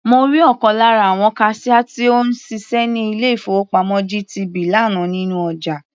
Mo rí ọ̀kan lára àwon kaṣíá tó ń ṣiṣẹ́ ní ilé-ìfowópamọ́ GTB lánàá nínú ọjà.